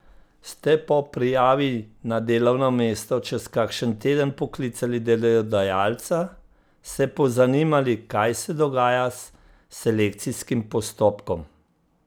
Ste po prijavi na delovno mesto čez kakšen teden poklicali delodajalca, se pozanimali kaj se dogaja s selekcijskim postopkom?